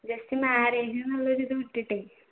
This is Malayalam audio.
just marriage എന്നുള്ളത്തൊരു ഇത് വിട്ടിട്ടേ